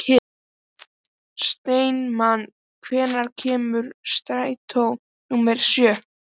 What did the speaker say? Steinmann, hvenær kemur strætó númer sjö?